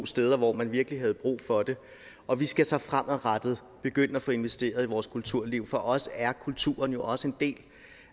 steder hvor man virkelig havde brug for det og vi skal så fremadrettet begynde at få investeret i vores kulturliv for os er kulturen jo også en del